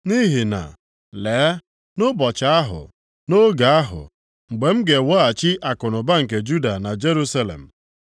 “Nʼihi na, lee, nʼụbọchị ahụ, nʼoge ahụ, mgbe m ga-eweghachi akụnụba nke Juda na Jerusalem,